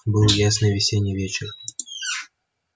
был ясный весенний вечер